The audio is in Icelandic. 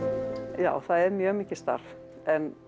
já það er mjög mikið starf en